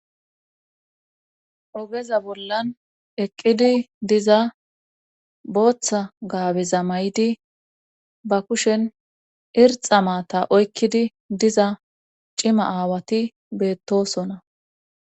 Ogeza bollan eqqidi diza booththa gaabeza may7di ba kushen irxa maata oykkidi diza cima aawati beettosona